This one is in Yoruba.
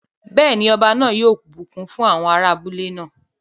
Bẹ́ẹ̀ ni, ọba yóò bùkún fún àwọn ará abúlé náà.